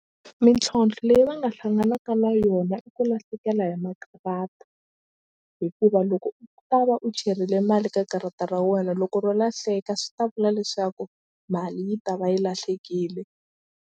Mintlhontlho leyi va nga hlanganaka na yona i ku lahlekela hi makarata hikuva loko u ta va u cherile mali ka karata ra wena loko ro lahleka swi ta vula leswaku mali yi ta va yi lahlekile.